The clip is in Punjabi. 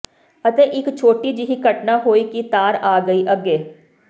ਅਤੇ ਇੱਕ ਛੋਟੀ ਜਿਹੀ ਘਟਨਾ ਹੋਈ ਕਿ ਤਾਰ ਆ ਗਈ ਅੱਗੇ